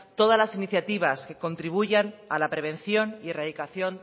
todas la iniciativas que contribuyan a la prevención y erradicación